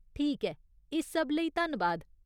ठीक ऐ, इस सब लेई धन्नबाद।